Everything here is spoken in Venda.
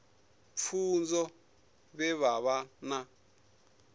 pfunzo vhe vha vha na